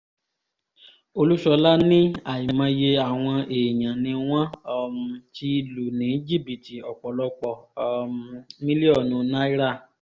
olúṣọlá ní àìmọye àwọn èèyàn ni wọ́n um ti lù ní jìbìtì ọ̀pọ̀lọpọ̀ um mílíọ̀nù náírà